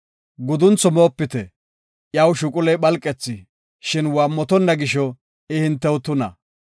Guduntho moopite; iyaw shuquley phalqethi, shin waammotonna gisho, I hintew tuna.